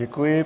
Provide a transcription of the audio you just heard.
Děkuji.